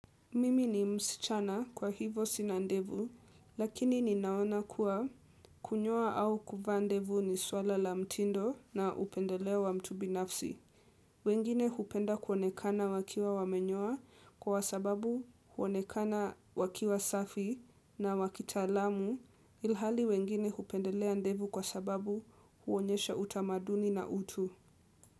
Mimi ni msichana kwa hivo sina ndevu lakini ninaona kuwa kunyoa au kuvaa ndevu ni swala la mtindo na upendelea wa mtu binafsi. Wengine hupenda kuonekana wakiwa wamenyoa kwa sababu huonekana wakiwa safi na wakitalamu ilhali wengine hupendelea ndevu kwa sababu huonyesha utamaduni na utu.